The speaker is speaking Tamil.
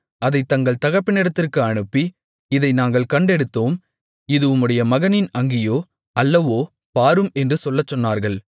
அதைத் தங்கள் தகப்பனிடத்திற்கு அனுப்பி இதை நாங்கள் கண்டெடுத்தோம் இது உம்முடைய மகனின் அங்கியோ அல்லவோ பாரும் என்று சொல்லச்சொன்னார்கள்